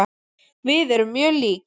Við erum mjög lík.